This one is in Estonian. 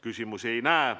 Küsimusi ei näe.